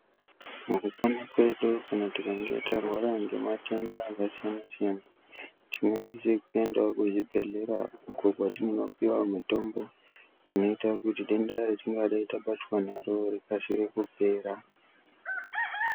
Mukupona kwedu kana tikange tarwara nematenda akasiyana siyana tinosise kuendawo kuzvibhehlera uko kwatinopuwa mutombo inoita kuti denda ratinenga tabatwa naro rikasike kupera.